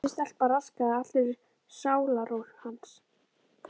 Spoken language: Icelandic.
Þessi stelpa raskaði allri sálarró hans.